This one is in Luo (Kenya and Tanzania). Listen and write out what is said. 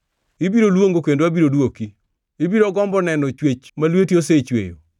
Ibiro luongo, kendo abiro dwoki; ibiro gombo neno chwech ma lweti osechweyo.